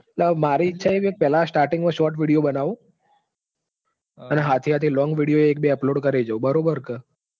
મારી ઈચ્છા એવી છે કે starting માં shorts video બનાવું. અને સાથે સાથે long video એકબે upload કરે જાઉં. બરાબર કે